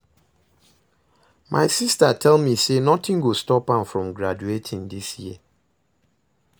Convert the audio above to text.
My sister tell me say nothing go stop am from graduating dis year